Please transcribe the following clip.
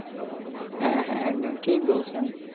হ্যাঁ হ্যাঁ একদম ঠিক বলছেন।